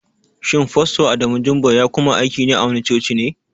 Shin fasto Adamu Jumba ya kuma aiki a wani coci ne?